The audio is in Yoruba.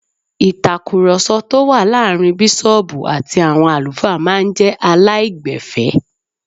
Ìtakùròsọ tó wà láàrin bísọ̀ọ̀bù àti àwọn àlùfáà máa n jé aláìgbẹ̀fẹ́